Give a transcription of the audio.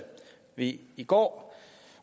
vi i går